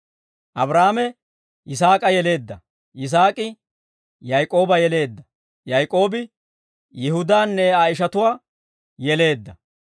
Abraahaame, Yisaak'a yeleedda; Yisaak'i, Yaak'ooba yeleedda; Yaak'oobi, Yihudaanne Aa ishatuwaa yeleedda.